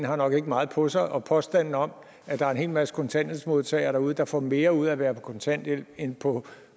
har nok ikke meget på sig og påstanden om at der er en hel masse kontanthjælpsmodtagere derude der får mere ud af at være på kontanthjælp end på